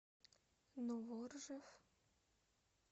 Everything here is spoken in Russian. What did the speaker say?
новоржев